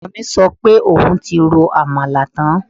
Ọmọ mi sọ pé òun ti ro àmàlà tán